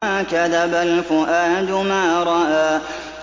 مَا كَذَبَ الْفُؤَادُ مَا رَأَىٰ